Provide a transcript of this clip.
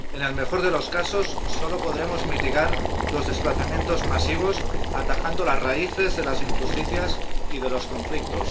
En el mejor de los casos, solo podremos mitigar los desplazamientos masivos atajando las raíces de las injusticias y de los conflictos.